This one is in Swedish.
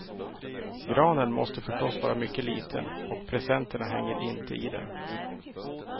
Granen måste förstås vara mycket liten, och presenterna hänger inte i den.